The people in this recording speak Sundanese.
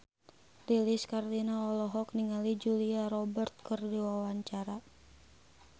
Lilis Karlina olohok ningali Julia Robert keur diwawancara